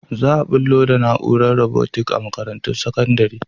Za a bullo da na’urar robotics a makarantun sakandare.